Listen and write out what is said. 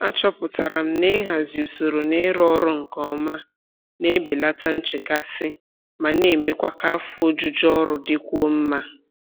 Achọpụtara m na ịhazi usoro na ịrụ ọrụ nke ọma na-ebelata nchekasị ma na-emekwa ka afọ ojuju ọrụ dịkwuo mma.